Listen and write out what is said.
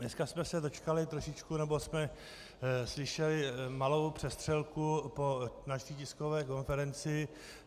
Dneska jsme se dočkali trošičku - nebo jsme slyšeli malou přestřelku po naší tiskové konferenci.